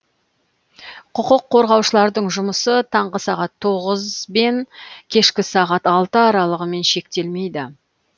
құқық қорғаушылардың жұмысы таңғы сағат тоғыз бен кешкі сағат алты аралығымен шектелмейді